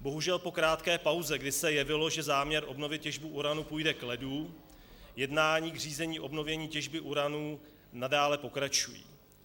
Bohužel po krátké pauze, kdy se jevilo, že záměr obnovit těžbu uranu půjde k ledu, jednání k řízení obnovení těžby uranu nadále pokračují.